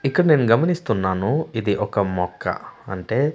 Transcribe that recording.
ఇక్కడ నేన్ గమనిస్తున్నాను ఇది ఒక మొక్క అంటే--